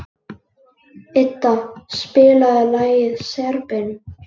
Idda, spilaðu lagið „Serbinn“.